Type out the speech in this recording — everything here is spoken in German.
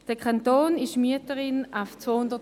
Der Kanton ist an 292 Standorten Mieterin.